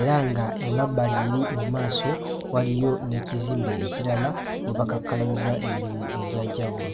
era ng'emabbali eri mu maaso waliyo n'ekizimbe ekirala we bakakkalabiza emirimu egy'enjawulo